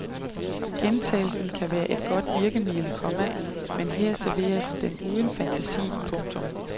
Gentagelsen kan være et godt virkemiddel, komma men her serveres den uden fantasi. punktum